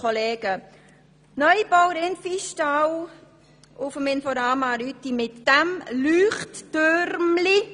Der Rindviehstall des Inforama Rütti soll neu gebaut werden.